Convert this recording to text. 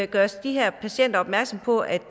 gøres de her patienter opmærksom på at